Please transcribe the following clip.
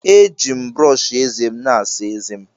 Eji m brọọshị ézé m asa ézé m.